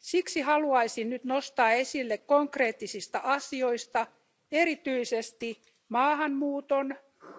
Siksi haluaisin nyt nostaa esille konkreettisista asioista erityisesti maahanmuuton,